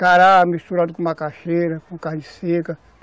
Cará misturado com macaxeira, com carne seca.